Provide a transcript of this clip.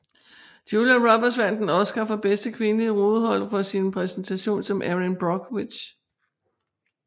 Julia Roberts vandt en Oscar for bedste kvindelige hovedrolle for sin præstation som Erin Brockovich